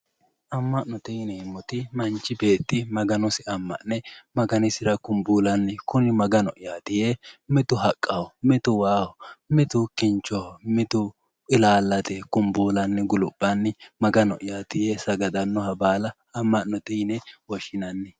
Ama'note yineemmoti manchi beetti Maganosi ama'ne Maganisira kumbullanni kunni Magano'yati yee mitu haqqaho, mitu waaho ,mitu kinchoho, mitu ilallate ikko kumbullanni guluphanni Magano'yati yee Sagadanoha baalla ama'note yinne woshshinanni.